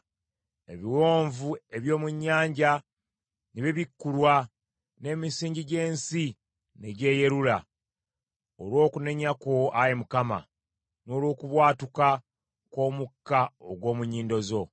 Ebiwonvu eby’omu nnyanja ne bibikkulwa n’emisingi gy’ensi ne gyeyerula olw’okunenya kwo Ayi Mukama n’olw’okubwatuka kw’omukka ogw’omu nnyindo zo.